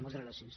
moltes gràcies